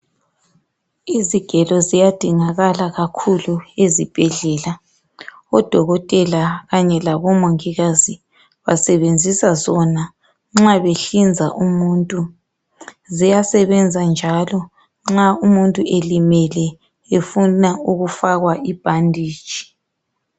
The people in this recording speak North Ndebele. Izigelo ziyadingakala kakhulu ezibhedlela odokotela kanye labomongikazi basebenzisa sona nxa behlinza umuntu ziyasebenza njalo nxa umuntu elimele efuna ukufakwa ibhanditshi.